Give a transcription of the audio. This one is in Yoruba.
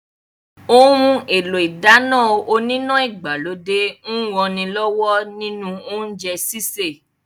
Ohun èlò ìdáná oníná ìgbàlódé ń ranilọ́wọ́ nínú oúnjẹ sísè